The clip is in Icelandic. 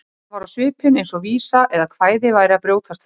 Hann var á svipinn eins og vísa eða kvæði væri að brjótast fram.